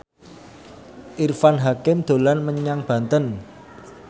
Irfan Hakim dolan menyang Banten